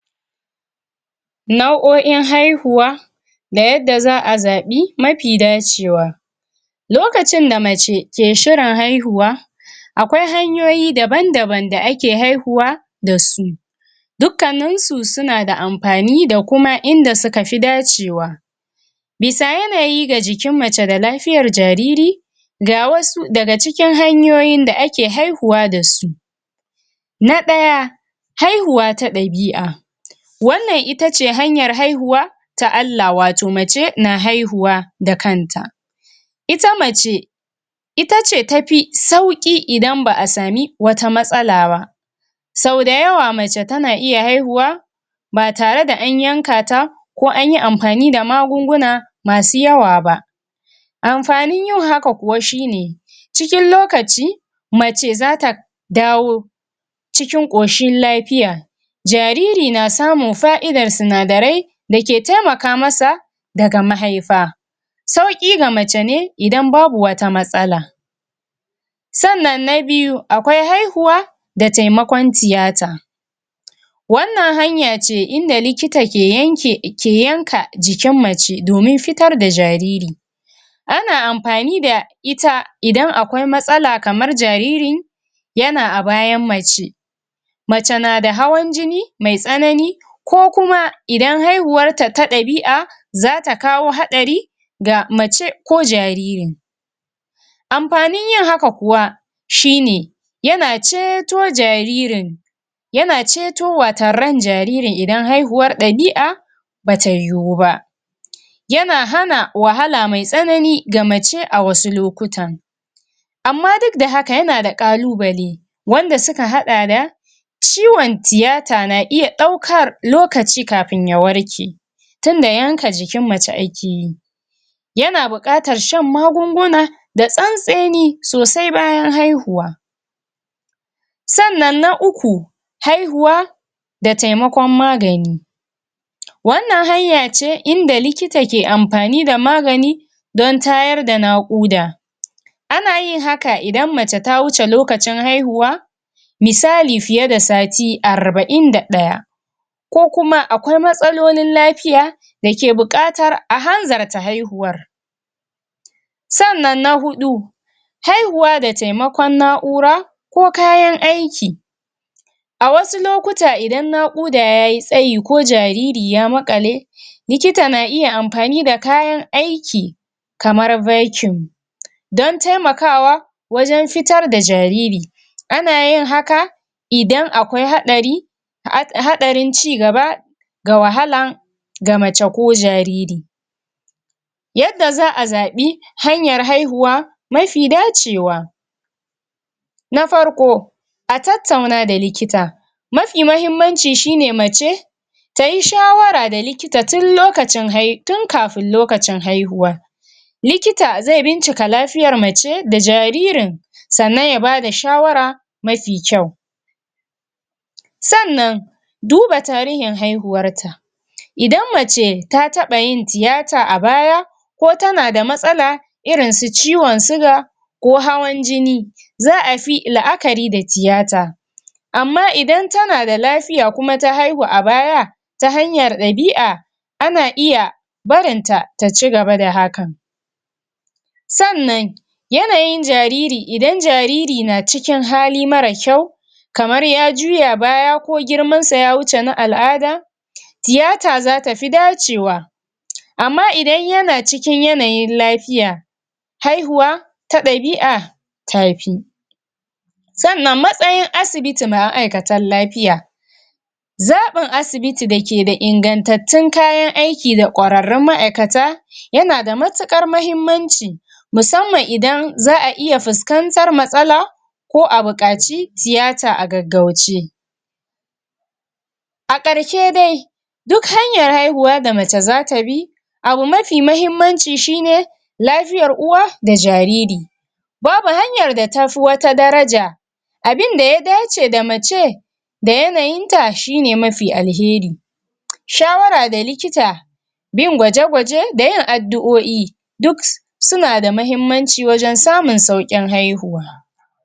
Nau'o'in haihuwa da yadda za a zaɓi mapi dacewa lokacin da mace ke shirin haihuwa akwai hanyoyi daban-daban da ake haihuwa da su dukkaninsu suna da ampani da kuma inda suka fi dacewa bisa yanayi ga jikin mace da lafiyar jariri ga wasu daga cikin hanyoyin da ake haihuwa da su na ɗaya haihuwa ta ɗabi'a wannan itace hanyar haihuwa ta Allah wato mace na haihuwa da kanta ita mace itace tapi sauƙi idan ba a sami wata matsala ba sau dayawa mace tana iya haihuwa ba tare da an yanka ta ko anyi ampani da magunguna masu yawa ba amfanin yin haka kuwa shine cikin lokaci mace zata dawo cikin ƙoshin lapiya jariri na samun fa'idar sinadarai da ke temaka masa daga mahaifa sauƙi ga mace ne idan babu wata matsala sannan na biyu akwai haihuwa da taimakon tiyata wannan hanya ce idan likita ke yanka jikin mace domin fiar da jariri ana ampani da ita idan akwai matsala kamar jariri yana a bayan mace mace na da hawan jini mai tsanani ko kuma idan haihuwar ta ta ɗabi'a zata kawo haɗari ga mace ko jariri ampanin yin haka kuwa shine yana ceto jaririn yana ceto wato ran jaririn idan haihuwar ɗabi'a bata yiwu ba yana hana wahala mai tsanani ga mace a wasu lokutan amma duk da haka yana da ƙalubale wanda suka haɗa da ciwon tiyata na iya ɗaukar lokaci kapin ya ɗauke tunda yanka jikin mace ake yi yana buƙatar shan magunguna da tsantseni sosai bayan haihuwa sannan na uku haihuwa da taimakon magani wannan hanya ce inda likita ke ampani da magani don tayar da naƙuda ana yin haka idan mace ta wuce lokacin haihuwa misali fiye da sati arba'in da ɗaya ko kuma akwai matsalolin lapiya dake buƙatar a hanzarta haihuwa sannan na huɗu haihuwa da taimakon na'ura ko kayan aiki a wasu lokuta idan naƙuda yayi tsayi ko jariri ya maƙale likita na iya ampani da kayan aiki kamar don talmakawa wajen fitar da jariri ana yin haka idan akwai haɗari um hadarin cigaba ga wahala ga mace ko jariri yadda za a zaɓi hanyar haihuwa mafi dacewa na farko a tattauna da likita mafi mahimmanci shine mace tayi shawara da likita tun lokacin um tun kafin lokacin haihuwa likita zai bincika lafiyar mace da jaririn sannan ya bada shawara mafi kyau sannan duba tarihin haihuwan ta idann mace ta taɓa yin tiyata a baya ko tana da matsala irin su ciwon suga ko hawan jini za a fi la'akari da tiyata amma idan tana lafiya kuma ta haihu da baya ta hanyar ɗabi'a ana iya barin ta ta cigaba da hakan sannan yanayin jariri idan jariri na cikin hali mara kyau kamar ya juya baya ko girmansa ya wuce na al'ada tiyata zata fi dacewa amma idan yana cikin yanayin lafiya haihuwa ta ɗabi'a ta fi sannan matsayin asibiti da ma'aikatan lapiya zaɓin asibiti da ke da ingantattun kayan aiki da ƙwararrun ma'aikata yana da matuƙar mahimmanci musamman idan za a iya fuskantar matsala ko a buƙaci tiyata a gaggauce a ƙarshe dai duk hanyar haihuwa da mace zata bi abu mafi mahimmanci shine lafiyar uwa da jariri babu hanyar da ta fi wata daraja abinda ya dace da mace da yanayinta shine mafi alheri shawara da likita bin gwaje-gwaje da yin addu'o'i duk suna da mahimmanci wajen samun sauƙin haihuwa.